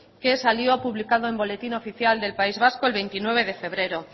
que salió publicado en boletín oficial del país vasco el veintinueve de febrero